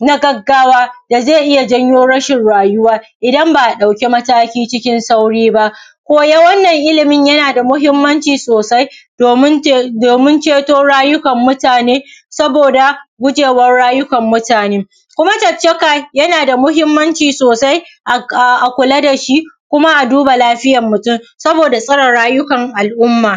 na gaggawa da zai iya janyo rashin rayuwa infa ba’a ɗauki mataki cikin sauri ba koyan wannan ilimin yana da mahimmanci sosai domin ceto rayukwan mutun saboda gujewan rayukan mutun koma caccaka yana da mahimmancin sosai a kula da shi ko ma duba lafiyan mutun saboda tsara rayukan al’umma